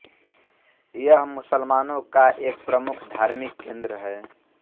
यह मुसलमानों का एक प्रमुख धार्मिक केंद्र है